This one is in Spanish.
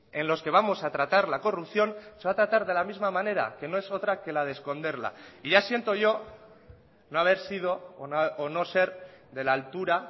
en los que vamos a tratar la corrupción se va a tratar de la misma manera que no es otra que la de esconderla y ya siento yo no haber sido o no ser de la altura